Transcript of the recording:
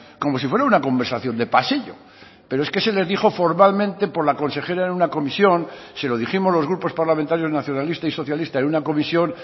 como si fuera una conversación de pasillo pero es que se les dijo formalmente por la consejera en una comisión se lo dijimos los grupos parlamentarios nacionalista y socialista en una comisión